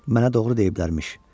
Mənə doğru deyiblər imiş.